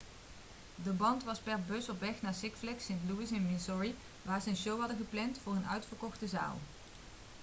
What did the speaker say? de band was per bus op weg naar six flags st. louis in missouri waar ze een show hadden gepland voor een uitverkochte zaal